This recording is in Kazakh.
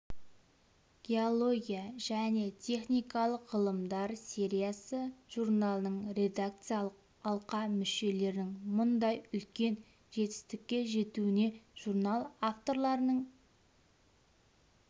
геология және техникалық ғылымдар сериясы журналының редакциялық алқа мүшелерінің мұндай үлкен жетістікке жетуіне журнал авторларының